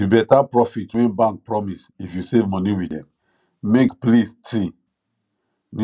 the better profit wey bank promise if you save money with dem make pls ty new people join the bank